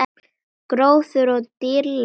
Gróður og dýralíf á tertíer